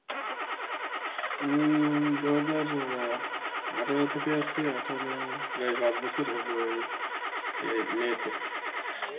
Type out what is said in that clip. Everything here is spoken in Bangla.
উম দু হাজার আঠারো থেকে আছি আঠারো প্রায় পাঁচ বছর হবে ওই এই May তে.